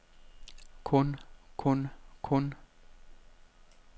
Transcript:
kun kun kun